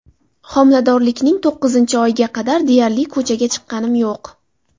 Homiladorlikning to‘qqizinchi oyiga qadar deyarli ko‘chaga chiqqanim yo‘q.